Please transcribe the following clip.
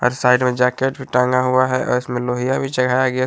और साइड में जैकेट भी टांगा हुआ है और उसमें लोहिया भी चढ़ाया गया --